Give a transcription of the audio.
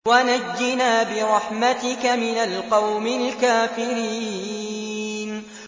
وَنَجِّنَا بِرَحْمَتِكَ مِنَ الْقَوْمِ الْكَافِرِينَ